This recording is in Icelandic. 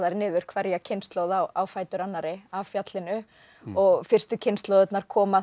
niður hverja kynslóð á fætur annarri af fjallinu og fyrstu kynslóðirnar koma